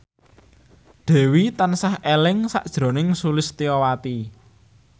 Dewi tansah eling sakjroning Sulistyowati